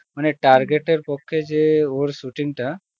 মানে target এর পক্ষে যে ওর shooting টা